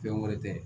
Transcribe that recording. Fɛn wɛrɛ tɛ